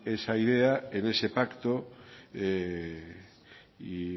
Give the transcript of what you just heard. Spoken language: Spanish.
esa idea en ese pacto y